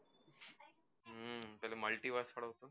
આ multiverse માં